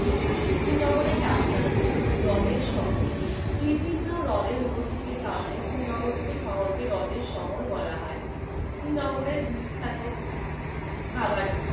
শ্রীনগরের ডাক নাম কি? হৃদের শহর। বিভিন্ন হৃদের উপস্থিতির কারণে শ্রীনগরকে শহরকে হ্রদের শহর বলা হয়। শ্রীনগরের বিখ্যাত খাবার কি?